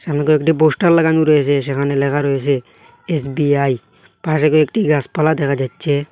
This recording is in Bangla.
এখানে কয়েকটি বোস্টার লাগানো রয়েছে সেখানে লেখা রয়েসে এস_বি_আই পাশে কি একটি গাসপালা দেখা যাচ্ছে।